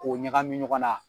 K'o ɲagami ɲɔgɔna